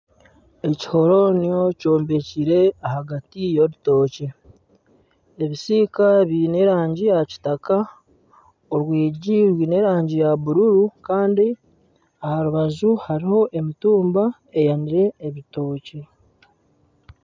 Ekihoronio kyombekire ahagati y'orutookye ebisiika biine erangi ya kitaka orwigi rwine erangi ya bururu kandi aha rubaju hariho emitumba eyanire ebitookye